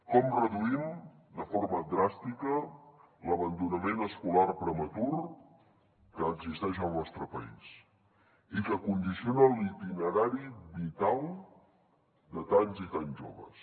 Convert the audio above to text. com reduïm de forma dràstica l’abandonament escolar prematur que existeix al nostre país i que condiciona l’itinerari vital de tants i tants joves